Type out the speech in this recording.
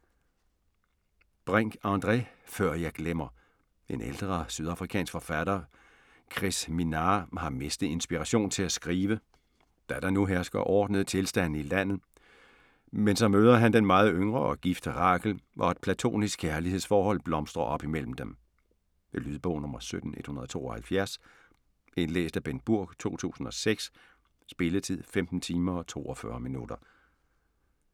Brink, André: Før jeg glemmer En ældre sydafrikansk forfatter, Chris Minnaar, har mistet inspirationen til at skrive, da der nu hersker ordnede tilstande i landet, men så møder han den meget yngre og gifte Rachel, og et platonisk kærlighedsforhold blomstrer op mellem dem. Lydbog 17172 Indlæst af Bengt Burg, 2006. Spilletid: 15 timer, 42 minutter.